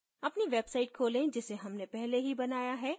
अपनी website खोलें जिसे हमने पहले ही बनाया है